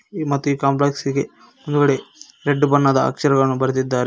ಮತ್ತೆ ಈ ಕಾಂಪ್ಲೆಕ್ಸಿಗೆ ಮುಂದ್ಗಡೆ ರೆಡ್ ಬಣ್ಣದ ಅಕ್ಷರಗಳನ್ನು ಬರೆದಿದ್ದಾರೆ.